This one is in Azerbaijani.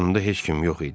Yanında heç kim yox idi.